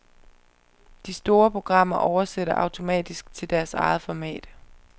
De store programmer oversætter automatisk til deres eget format.